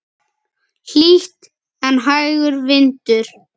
Hlýtt en hægur vindur.